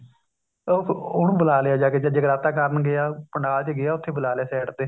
ਉਹ ਉਹਨੂੰ ਬੁਲਾਲਿਆ ਜਾ ਕੇ ਜਦ ਜਗਰਾਤਾ ਕਰਨ ਗਿਆ ਪੰਡਾਲ ਚ ਗਿਆ ਉੱਥੇ ਬੁਲਾਲਿਆ side ਤੇ